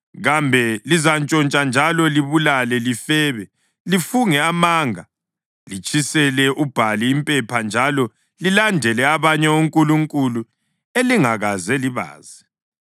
Kambe lizantshontsha njalo libulale, lifebe, lifunge amanga, litshisele uBhali impepha njalo lilandele abanye onkulunkulu elingakaze libazi,